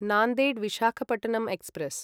Nanded Visakhapatnam express